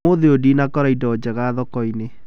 Ũmũthĩ ũyũ ndinakora ĩndo njega thoko-inĩ